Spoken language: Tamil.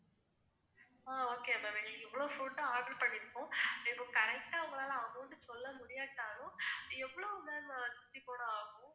ஆஹ் okay ma'am எங்களுக்கு இவ்ளோ food order பன்னிருக்கோம். இப்போ correct ஆ உங்களுக்கு amount சொல்ல முடியாட்டாலும் எவ்ளோ ma'am ஆகும்